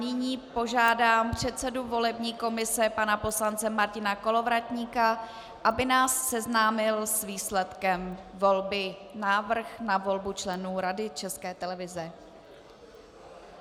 Nyní požádám předsedu volební komise pana poslance Martina Kolovratníka, aby nás seznámil s výsledkem volby - návrh na volbu členů Rady České televize.